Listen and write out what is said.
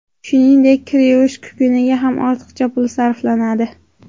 Shuningdek, kir yuvish kukuniga ham ortiqcha pul sarflanadi.